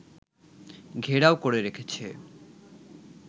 ঘেরাও করে রেখেছে